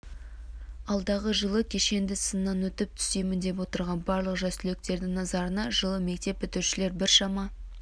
алдағы жылы кешенді сыннан өтіп түсемін деп отырған барлық жас түлектердің назарына жылы мектеп бітірушілер біршама